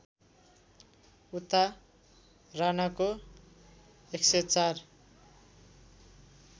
उता राणाको १०४